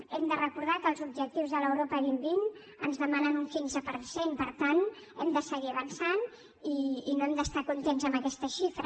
hem de recordar que els objectius de l’europa dos mil vint ens demanen un quinze per cent per tant hem de seguir avançant i no hem d’estar contents amb aquesta xifra